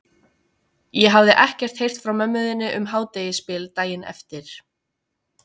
Ég hafði ekkert heyrt frá mömmu þinni um hádegisbil daginn eftir.